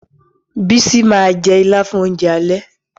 Bísí ma jẹ́ Ìlá fún oúnjẹ alẹ́